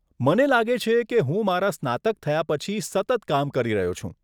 મને લાગે છે કે હું મારા સ્નાતક થયા પછી સતત કામ કરી રહ્યો છું.